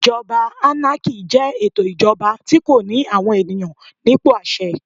Ìjọba ánákì jẹ́ ètò ìjọba tí kò ní àwọn ènìyàn nípò àṣẹ.